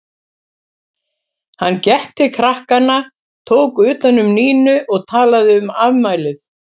Hann gekk til krakkanna, tók utan um Nínu og talaði um afmælið.